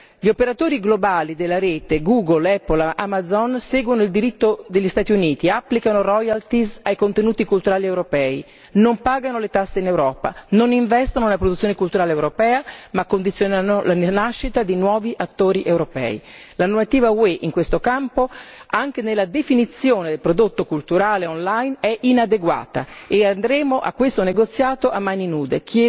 Gli operatori globali della rete, Google, Apple, Amazon seguono il diritto degli Stati Uniti, applicano royalty ai contenuti culturali europei, non pagano le tasse in Europa, non investono nella produzione culturale europea, ma condizionano la nascita di nuovi attori europei. La normativa UE in questo campo anche nella definizione del prodotto culturale online è inadeguata e andremo a questo negoziato a mani nude.